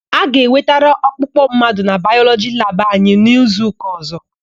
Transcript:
A ga-ewetara ọkpụkpụ mmadụ na Bayọlọgi labụ anyị n'izuụka ọ̀zọ́.